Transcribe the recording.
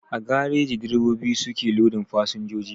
A gareji direbobi su ke lodin fasinjoji